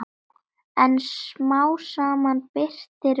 En smám saman birtir upp.